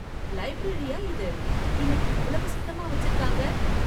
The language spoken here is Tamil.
லைப்ரரியா இது இன்னைக்கு இவ்வளவு சுத்தமா வச்சிருக்காங்க!